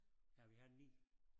Ja vi har 9